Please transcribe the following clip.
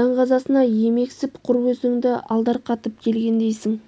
даңғазасына емексіп құр өзіңді алдарқатып келгендейсің